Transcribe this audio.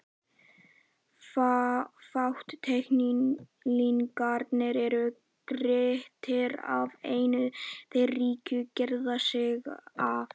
Fátæklingarnir eru girtir af en þeir ríku girða sig af.